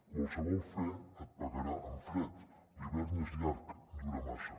qualsevol fe et pagarà amb fred i l’hivern és llarg dura massa